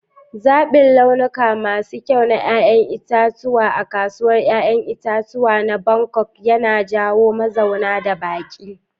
Zaɓin launuka masu kyau na 'ya'yan itatuwa a kasuwar 'ya'yan itace na Bangkok yana jawo mazauna da baƙi.